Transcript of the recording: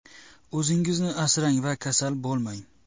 O‘zingizni asrang va kasal bo‘lmang!